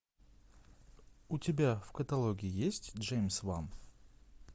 у тебя в каталоге есть джеймс ван